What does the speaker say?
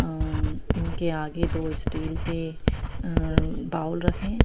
अ अ म इनके आगे दो स्टील के अ बाउल रखे हैं।